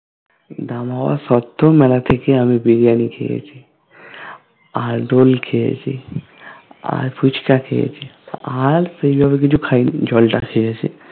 দাম হবা সত্ত্বেও মেলাতে গিয়ে আমি Biryani খেয়েছি আর roll খেয়েছি আর ফুচকা খেয়েছি আর সেইভাবে কিচু খাইনি জ্বল টা খেয়েছি